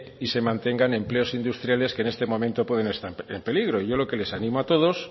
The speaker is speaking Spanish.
y se mantengan empleos industriales que en este momento pueden estar en peligro yo lo que les animo a todos